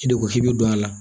I de ko k'i bi don a la